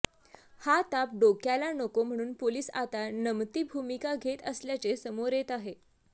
हा ताप डोक्याला नको म्हणून पोलिस आता नमती भूमिका घेत असल्याचे समोर येत आहे